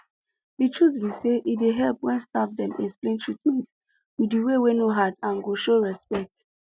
the truth be say e dey help when staff dem explain treatment with way wey no hard and go show respect